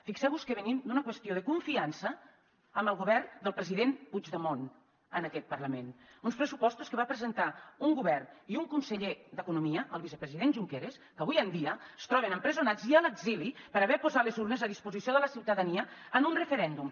fixeu vos que venim d’una qüestió de confiança amb el govern del president puigdemont en aquest parlament d’uns pressupostos que va presentar un govern i un conseller d’economia el vicepresident junqueras que avui en dia es troben empresonats i a l’exili per haver posat les urnes a disposició de la ciutadania en un referèndum